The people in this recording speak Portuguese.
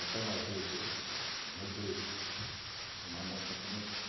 Então, uma vez eu, umas na igreja, uma moça começou.